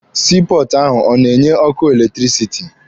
Sii pọọtụ ahụ ọ na-enye ọkụ eletirisiti?